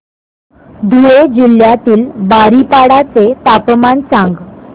धुळे जिल्ह्यातील बारीपाडा चे तापमान सांग